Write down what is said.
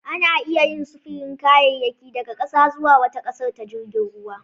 Ana iya yin sufurin kayayyaki daga ƙasa zuwa wata ƙasar ta jirgin ruwa